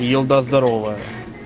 елда здоровая